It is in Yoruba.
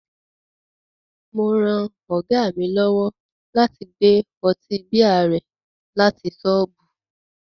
Mo ran Ọ̀gá mi lọ́wọ́ láti gbé ọtí bíà rẹ láti ṣọ́ọ̀bù